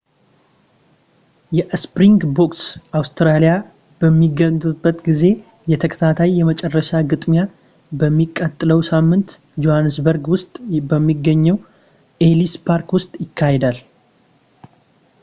የስፕሪንግቦክስ አውስትራሊያ በሚገጥምበት ጊዜ የተከታታይ የመጨረሻ ግጥሚያ በሚቀጥለው ሳምንት ጆሃንስበርግ ውስጥ በሚገኘው ኤሊስ ፓርክ ውስጥ ይካሄዳል